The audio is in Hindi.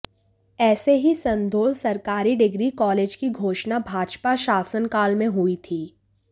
ऐसे ही संधोल सरकारी डिग्री कालेज की घोषणा भाजपा शासनकाल मेें हुई थी